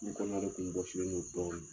N kɔnɔna de tun bɔsilen do dɔɔni